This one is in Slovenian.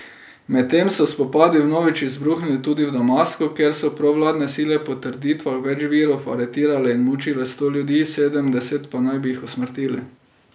Medtem so spopadi vnovič izbruhnili tudi v Damasku, kjer so provladne sile po trditvah več virov aretirale in mučile sto ljudi, sedemdeset pa naj bi jih usmrtili.